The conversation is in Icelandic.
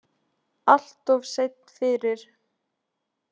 Alltof seinn fyrir.